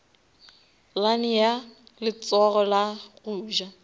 lane ya letsogo la goja